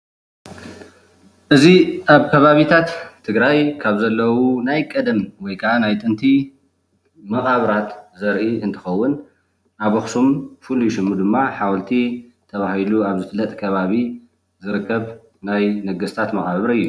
እዚ ኣብ ከባቢታት ትግራይ ካብ ዘለዉ ናይ ቀደም ወይ ካዓ ናይ ጥንቲ መቓብራት ዘርኢ እንትኸውን ኣብ ኣኹሱም ፍሉይ ሽሙ ድማ ሓወልቲ ተባሂሉ ኣብ ዝፍለጥ ከባቢ ዝርከብ ናይ ነገስታት መቓብር እዩ